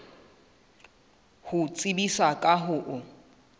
ho tsebisa ka ho o